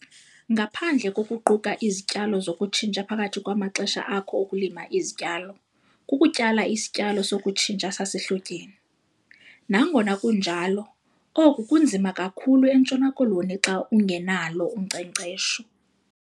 Ngaphandle kokuquka izityalo zokutshintsha phakathi kwamaxesha akho okulima izityalo, kukutyala isityalo sokutshintsha sasehlotyeni. Nangona kunjalo, oku kunzima kakhulu eNtshona Koloni xa ungenalo unkcenkcesho.